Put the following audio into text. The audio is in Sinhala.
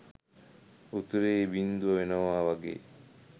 උත්තරේ බින්දුව වෙනවා වගේ.